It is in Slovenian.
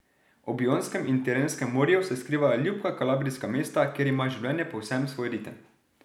Ob Jonskem in Tirenskem morju se skrivajo ljubka kalabrijska mesta, kjer ima življenje povsem svoj ritem.